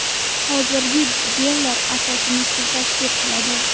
Hozirgi gellar asosini suv tashkil qiladi.